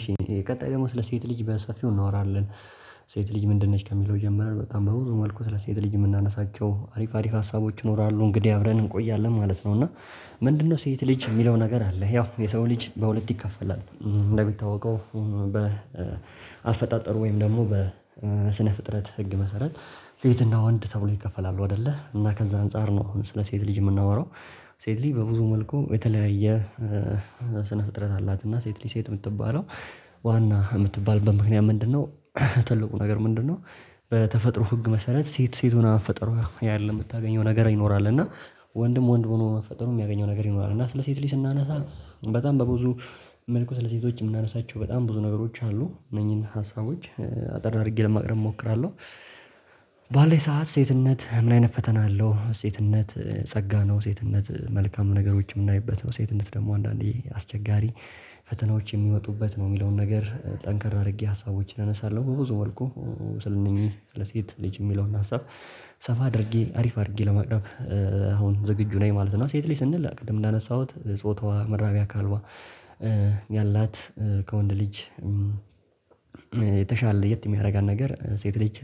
እሺ ቀጣይ ደግሞ ስለ ሴት ልጅ በሰፊው እናወራለን። ሴት ልጅ ምንድን ነሽ? ከሚለው ጀምረን በጣም በብዙ መልኩ ስለ ሴት ልጅ የምናነሳቸው አሪፍ አሪፍ ሀሳቦች ይኖራሉ። እንግዲህ አብረን እንቆያለን ማለት ነው። እና ምንድነው ሴት ልጅ? የሚለው ነገር አለ። ያው የሰው ልጅ በሁለት ይከፈላል እንደሚታወቀው በአፈጣጠሩ ወይም ደግሞ በስነ ፍጥረት ህግ መሰረት ሴትና ወንድ ተብሎ ይከፈላሉ አይደለ? እና ከዛ አንፃር ነው አሁን ስለ ሴት ልጅ የምናወራው፣ ሴት ልጅ በብዙ መልኩ የተለያየ ስነ ፍጥረት አላት እና ሴት ሴት የምትባለው ዋና የምትባልበት ምክንያት ምንድነው? ትልቁ ነገር ምንድነው በተፈጥሮ ህግ መሰረት ሴት ሴት ሆና መፈጠሯ ያለው የምታገኘው ነገር ይኖራል። እና ወንድም ወንድ ሆኖ መፈጠሩ የሚያገኘው ነገር ይኖራል። እና ስለ ሴት ላይ ስናነሳ በጣም በብዙ መልኩ ስለ ሴቶች የምናነሳቸው በጣም ብዙ ነገሮች አሉ። እነኚህን ሀሳቦች አጠር አድርጌ ለማቅረብ እሞክራለሁ። ባለኝ ሰዓት ሴትነት ምን አይነት ፈተና አለው? ሴትነት ጸጋ ነው። ሴትነት መልካም ነገሮች የምናይበት ነው። ሴትነት ደግሞ አንዳንዴ አስቸጋሪ ፈተናዎች የሚመጡበት ነው የሚለውን ነገር ጠንከር አድርጌ ሀሳቦችን እነሳለሁ። በብዙ መልኩ ስለእነኚህ ስለሴት ልጅ የሚለውን ሀሳብ ሰፋ አድርጌ አሪፍ አድርጌ ለማቅረብ አሁን ዝግጁ ነኝ ማለት ነው። ሴት ልጅ ስንል ቅድም እንዳነሳሁት ጾታዋ፣ መራቢያ አካልዋ ያላት ከወንድ ልጅ የተሻለ ለየት የሚያደርጋት ነገር ሴት ልጅ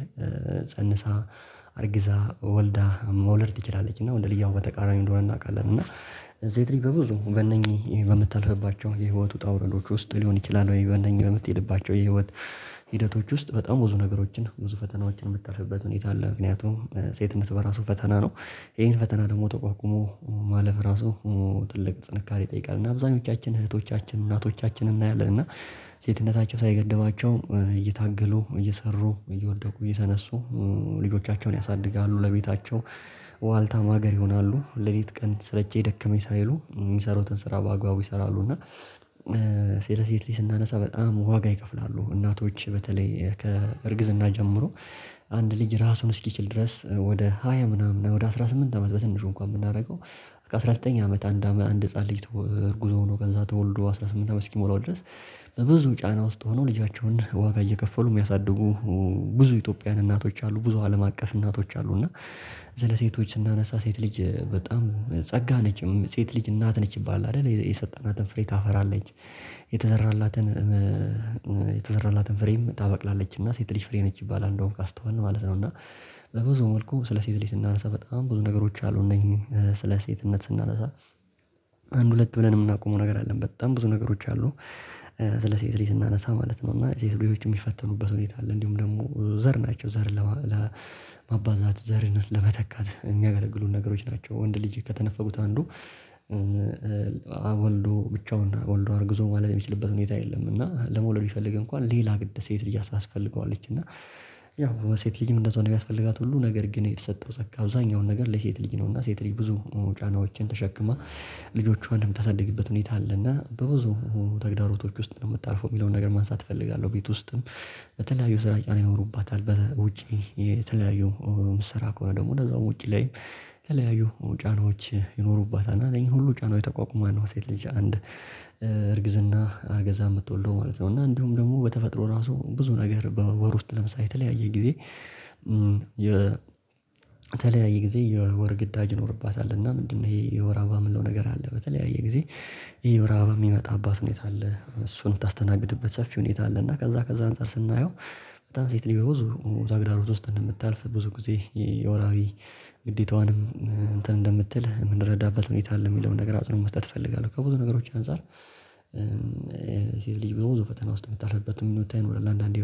ፀንሳ አርግዛ፣ ወልዳ መውለድ ትችላለች። እና ወንድ ልጅ ያው በተቃራኒው እንደሆነ እናውቃለን። እና ሴት ልጅ በብዙ በእነኚህ በምታልፍባቸው የህይወት ውጣ ውረዶች ውስጥ ሊሆን ይችላል ወይ በእነኚህ በምትሄድባቸው የህይወት ሂደቶች ውስጥ በጣም ብዙ ነገሮችን ብዙ ፈተናዎችን የምታልፍበት ሁኔታ አለ። ምክንያቱም ሴትነት በራሱ ፈተና ነው። ይሄን ፈተና ደግሞ ተቋቁሞ ማለፍ ራሱ ትልቅ ጥንካሬ ይጠይቃል። እና አብዛኞቻችን እህቶቻችንን እናቶቻችንን እናያለን። እና ሴትነታቸው ሳይገደባቸው እየታገሉ፣ እየሰሩ፣ እየወደቁ፣ እየተነሱ ልጆቻቸውን ያሳድጋሉ። ለቤታቸው ዋልታ ማገር ይሆናሉ። ለሊት ቀን ስለቸኝ ደከመኝ ሳይሉ የሚሰራውን ስራ በአግባቡ ይሰራሉ። እና ሴለ ሴት ልጅ ስናነሳ በጣም ዋጋ ይከፍላሉ። እናቶች በተለይ ከእርግዝና ጀምሮ አንድ ልጅ ራሱን እስኪችል ድረስ ወደ ሃያ ምናምን ወደ አስራ ስምንት አመት በትንሹ እንኳን ብናደርገው እስከ አስራ ዘጠኝ አመት አንድ አመት አንድ ህፃን ልጅ እርጉዝ ሆኖ ነው ከዛ ተወልዶ አስራ ስምንት አመት እስኪሞላው ድረስ በብዙ ጫና ውስጥ ሆነው ልጃቸውን ዋጋ እየከፈሉ የሚያሳድጉ ብዙ ኢትዮጵያውያን እናቶች አሉ። ብዙ አለም አቀፍ እናቶች አሉ። እና ስለሴቶች ስናነሳ ሴት ልጅ ጸጋ ነችም ሴት ልጅ እናት ነች ይባላል አይደል የሰጠናትን ፍሬ ታፈራለች የተዘራላትን የተዘራላትን ፍሬም ታበቅላለችና ሴት ልጅ ፍሬ ነች ይባላል እንደዉም ካስተዋልን ማለት ነው። እና በብዙ መልኩ ስለ ሴት ላይ ስናነሳ በጣም ብዙ ነገሮች አሉ። እነኚህ ስለ ሴትነት ስናነሳ አንድ ሁለት ብለን የምናቆመው ነገር አይደለም በጣም ብዙ ነገሮች አሉ። ስለ ሴት ልጅ ስናነሳ ማለት ነው እና ሴት ልጅ የሚፈተኑበት ሁኔታ አለ። እንዲሁም ደግሞ ዘር ናቸው ዘር ለማባዛት ዘርን ለመተካት የሚያገለግሉን ነገሮች ናቸው። ወንድ ልጄ ከተነፈጉት አንዱ ወልዶ ብቻውን ወልዶ አርግዞ መዉለድ የሚችልበት ሁኔታ የለም። እና ለመውለድ ቢፈልግ እንኳን ሌላ ግድ ሴት ልጅ ታስፈልገዋለች። እና ያው ሴት ልጅም እንደዛው ነው የሚያስፈልጋት ሁሉ ነገር ግን የተሰጠው ፀጋ አብዛኛውን ነገር ለሴት ልጅ ነውና ሴት ልጅ ብዙ ጫናዎችን ተሸክማ ልጆቿን የምታሳድግበት ሁኔታ አለና በብዙ ተግዳሮቶች ውስጥ ነው የምታልፈው የሚለውን ነገር ማንሳት እፈልጋለሁ። ቤት ውስጥም በተለያዩ ስራ ይኖሩባታል በውጪ የተለያዩ ስራ ከሆነ ደግሞ እንደዛው ውጪ ላይ የተለያዩ ጫናዎች ይኖሩባታል እና እነኚህን ሁሉ ጫናዎች ተቋቁማ ነው ሴት ልጅ አንድ አርግዛ የምትወልደው ማለት ነው። እና እንዲሁም ደግሞ በተፈጥሮ ራሱ ብዙ ነገር በወር ውስጥ ለምሳሌ የተለያየ ጊዜ የተለያየ ጊዜ የወር ግዳጅ ይኖርባታል። እና ምንድነው ይሄ የወር አበባ የምንለው ነገር አለ። በተለያየ ጊዜ ይሄ የወር አበባ የሚመጣባት ሁኔታ አለ እሱን የምታስተናግድበት ሰፊ ሁኔታ አለ። እና ከዛ ከዛ አንፃር ስናየው በጣም ሴት በብዙ ተግዳሮት ውስጥ እንደምታልፍ ብዙ ጊዜ የወርሀዊ ግዴታዋንም እንትን እንደምትል የምንረዳበት ሁኔታ አለ የሚለውን ነገር አጽንኦት መስጠት እፈልጋለሁ። ከብዙ ነገሮች አንፃር ሴት ልጅ በብዙ ፈተና ውስጥ የምታልፍበት ሁኔታ ይኖራል። አንዳንዴ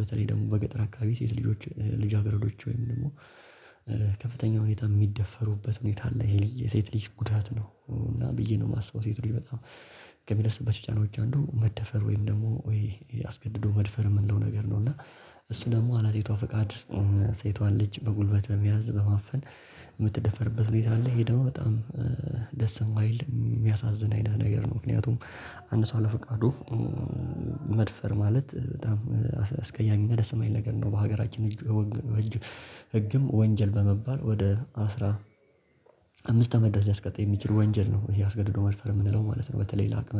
በተለይ ደግሞ በገጠር አካባቢ ሴት ልጆች ልጃገረዶች ወይም ደግሞ ከፍተኛ ሁኔታ የሚደፈሩበት ሁኔታ አለ ይሄ ልጅ ሴት ልጅ ጉዳት ነው እና ብዬ ነው የማስበው። ሴት ልጅ በጣም ከሚደርስበት ጫና ብቻ እንዱ መደፈር ወይም ደግሞ ወይ አስገድዶ መድፈር የምንለው ነገር ነው። እና እሱ ደግሞ ያለ ሴቷ ፈቃድ ሴቷን ልጅ በጉልበት በመያዝ በማፈን የምትደፈርበት ሁኔታ አለ። ሄደው በጣም ደስ የማይል የሚያሳዝን አይነት ነገር ነው ምክንያቱም አንድ ሰው አለፈቃዱ መድፈር ማለት በጣም አስቀያሚና ደስ የማይል ነገር ነው። በሀገራችን እጅ ህግም ወንጀል በመባል ወደ አስራ አምስት አመት ድረስ ሊያስቀጣ የሚችል ወንጀል ነው። ይሄ አስገድዶ መድፈር የምንለው ማለት ነው። በተለይ ለአቅመ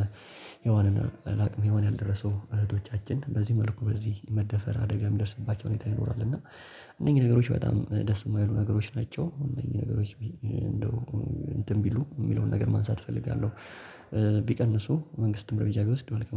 ሄዋን እና ለአቅመ ሄዋን ያልደረሱ እህቶቻችን በዚህ መልኩ በዚህ መደፈር አደጋ የሚደርስባቸው ሁኔታ ይኖራል። እና እነዚህ ነገሮች በጣም ደስ የማይሉ ነገሮች ናቸው። እነዚህ ነገሮች እንደው እንትን ቢሉ የሚለውን ነገር ማንሳት እፈልጋለሁ። ቢቀንሱ መንግስትም እርምጃ ቢወስድ አሪፍ ነው